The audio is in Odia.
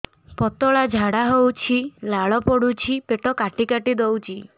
ପତଳା ଝାଡା ହଉଛି ଲାଳ ପଡୁଛି ପେଟ କାଟି କାଟି ଦଉଚି